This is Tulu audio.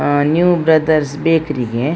ಹಾ ನಿವ್ ಬ್ರದರ್ಸ್ ಬೇಕರಿ ಗೆ.